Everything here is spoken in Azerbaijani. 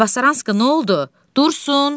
Tabasaranska, nə oldu, Dursun?